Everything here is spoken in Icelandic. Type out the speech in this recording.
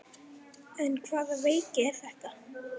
En hvaða veiki er þetta?